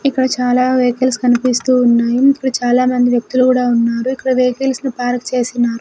ఇక్కడ చాలా వెహికల్స్ కనిపిస్తూ ఉన్నాయి ఇక్కడ చాలా మంది వ్యక్తులు గుడ ఉన్నారు ఇక్కడ వెహికల్స్ని పార్క్ చేసినారు.